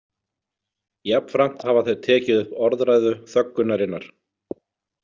Jafnframt hafa þeir tekið upp orðræðu þöggunarinnar.